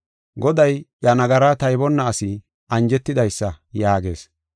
Goday iya nagaraa taybonna asi anjetidaysa” yaagees.